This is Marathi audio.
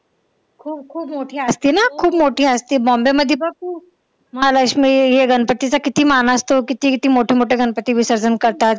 हो खूप मोठी असते ना, खूप मोठी असते. bombay मध्ये पण खूप महालक्ष्मी हे गणपतीचा किती मान असतो, किती किती मोठे मोठे गणपती विसर्जन करतात.